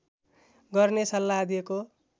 गर्ने सल्लाह दिएको